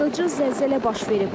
Dağıdıcı zəlzələ baş verib.